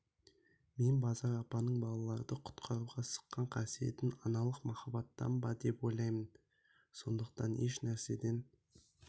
мен базар апаның балалрды құтқаруға сыққан қасиетін аналық махаббаттан ба деп ойлаймын сондықтан еш нәрседен